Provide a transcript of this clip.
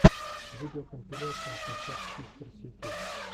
видеокомпиляция хашак систерс ютюб